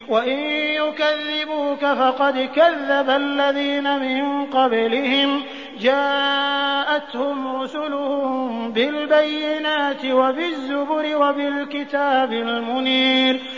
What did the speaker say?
وَإِن يُكَذِّبُوكَ فَقَدْ كَذَّبَ الَّذِينَ مِن قَبْلِهِمْ جَاءَتْهُمْ رُسُلُهُم بِالْبَيِّنَاتِ وَبِالزُّبُرِ وَبِالْكِتَابِ الْمُنِيرِ